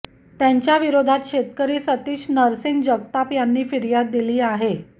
त्यांच्याविरोधात शेतकरी सतीश नरसिंग जगताप यानी फिर्याद दिली आहे